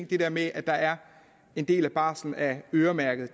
det der med at der er en del af barslen der er øremærket